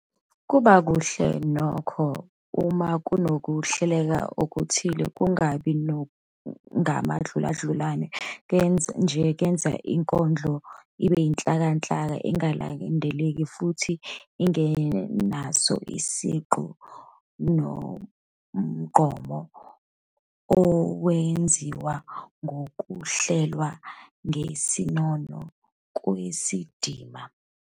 Kuba kuhle nokho uma kunokuhleleka okuthile, kungabi ngamadluladlulane nje enza ukuba inkondlo ibe yinhlakanhlaka engalandeleki futhi engenaso isigqi nomgqumo owenziwa ngukuhlelwa ngesinono kwezindima.